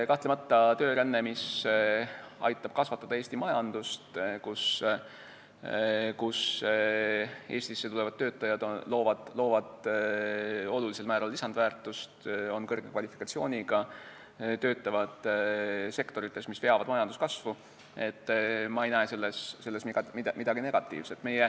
Kahtlemata, töörändes, mis aitab kasvatada Eesti majandust, kui Eestisse tulevad töötajad loovad olulisel määral lisandväärtust, on kõrge kvalifikatsiooniga ja töötavad sektorites, mis veavad majanduskasvu, ei näe ma midagi negatiivset.